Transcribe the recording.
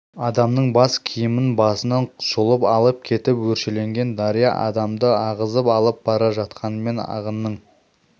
адамның бас киімін басынан жұлып алып кетіп өршеленген дария адамды ағызып алып бара жатқанымен ағынның